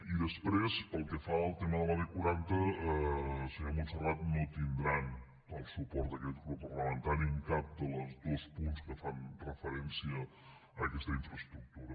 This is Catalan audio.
i després pel que fa al tema de la b quaranta senyora montserrat no tindran el suport d’aquest grup parlamentari en cap dels dos punts que fan referència a aquesta infraestructura